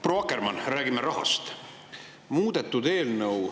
Proua Akkermann, räägime rahast.